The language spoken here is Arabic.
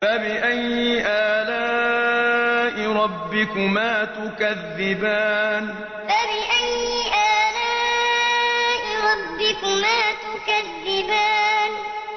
فَبِأَيِّ آلَاءِ رَبِّكُمَا تُكَذِّبَانِ فَبِأَيِّ آلَاءِ رَبِّكُمَا تُكَذِّبَانِ